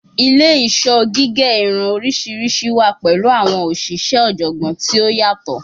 Ile-iṣọ gige irun oriṣiriṣi wa pẹlu awọn oṣiṣẹ ọjọgbọn ti o yatọ